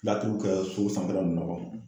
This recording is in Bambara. Laturuw kɛ so sanfɛla nn na kɔ